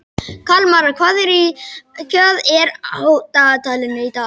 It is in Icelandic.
Kalmara, hvað er á dagatalinu í dag?